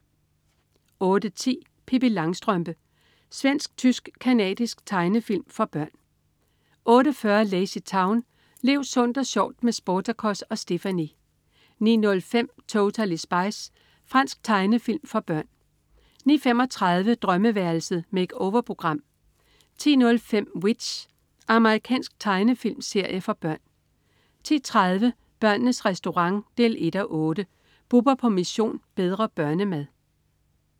08.10 Pippi Langstrømpe. Svensk-tysk-canadisk tegnefilm for børn 08.40 LazyTown. Lev sundt og sjovt med Sportacus og Stephanie! 09.05 Totally Spies. Fransk tegnefilm for børn 09.35 Drømmeværelset. Make-over-program 10.05 W.i.t.c.h. Amerikansk tegnefilmserie for børn 10.30 Børnenes Restaurant 1:8. Bubber på "Mission: Bedre børnemad"